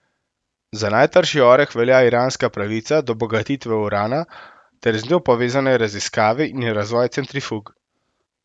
Za najtrši oreh velja iranska pravica do bogatitve urana ter z njo povezane raziskave in razvoj centrifug.